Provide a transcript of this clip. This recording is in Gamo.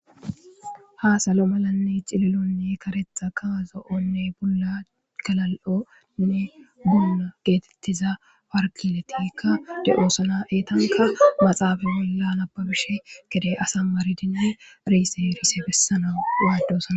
Ha salo malanne cililonne karetha kaazo'onne bulla kalal'onne buna geetettiza warkiletikka de'oosana eetanka maxaafa bolla nababishe gede asa maridine riysefise bessana waadosana.